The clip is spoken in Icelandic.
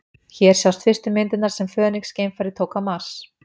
Hér sjást fyrstu myndirnar sem Fönix-geimfarið tók á Mars.